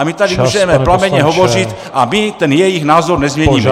A my tady můžeme plamenně hovořit a my ten jejich názor nezměníme.